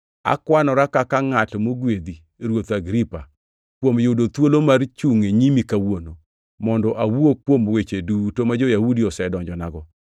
“Akwanora kaka ngʼat mogwedhi, Ruoth Agripa, kuom yudo thuolo mar chungʼ e nyimi kawuono, mondo awuo kuom weche duto ma jo-Yahudi osedonjonago.